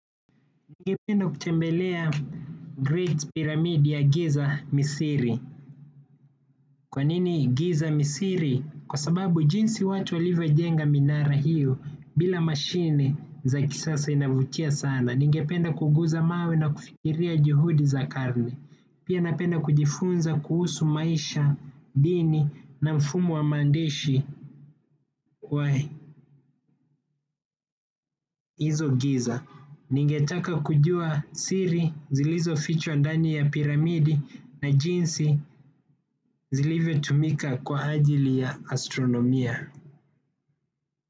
Ningependa kutembelea Great Pyramid ya giza misri. Kwa nini giza misri? Kwa sababu jinsi watu alivojenga minara hiyo bila mashine za kisasa inavutia sana. Ningependa kuguza mawe na kufikiria juhudi za karne. Pia napenda kujifunza kuhusu maisha, dini na mfumo wa maandishi kwa hizo giza. Ningetaka kujua siri zilizofichwa ndani ya piramidi na jinsi zilivotumika kwa ajili ya astronomia.